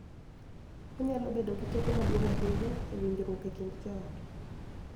Onyalo bedo gi teko maduong� ahinya e winjruok e kind joot.